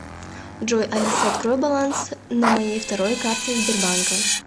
джой алиса открой баланс на моей второй карте сбербанка